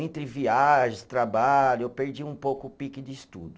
Entre viagens, trabalho, eu perdi um pouco o pique de estudo.